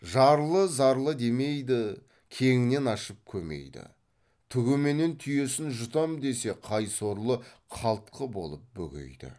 жарлы зарлы демейді кеңінен ашып көмейді түгіменен түйесін жұтам десе қай сорлы қалтқы болып бөгейді